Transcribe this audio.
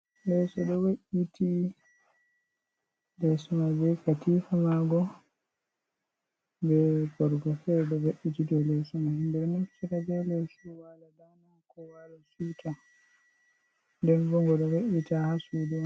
Leso ɗo we'iti leso mai be katifa ma ngo be borgo fere ɗo ve'iti do leso, ɓeɗo naftira be leso wala dana, ko wala siwta, ndenbo ngoɗo ve'ita ha sudu.